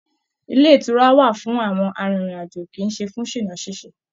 Ilé ìtura wà fún àwọn arìnrìn-àjò kì í ṣe fún ṣìná ṣíṣe